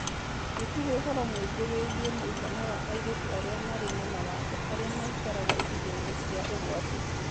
Gũtirĩ ũhoro mũingĩ wĩgiĩ mũigana wa airĩtu arĩa marĩ na mawathe arĩa maikaraga icigo-inĩ cia ũgwati.